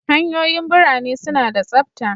Hanyoyin ɓirane suna da tsabta.